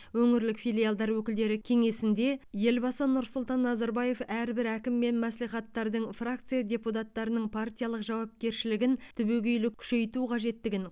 өңірлік филиалдар өкілдері кеңесінде елбасы нұрсұлтан назарбаев әрбір әкім мен мәслихаттардың фракция депутаттарының партиялық жауапкершілігін түбегейлі күшейту қажеттігін